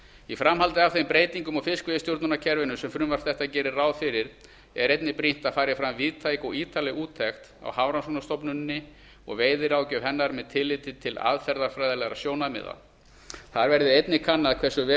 í framhaldi af þeim breytingum á fiskveiðistjórnarkerfinu sem frumvarp þetta gerir ráð fyrir er brýnt að fram fari víðtæk og ítarleg úttekt á hafrannsóknastofnuninni og veiðiráðgjöf hennar með tilliti til aðferðafræðilegra sjónarmiða þar verði einnig kannað hversu vel